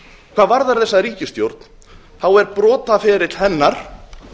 hvað varðar þessa ríkisstjórn er brotaferill hennar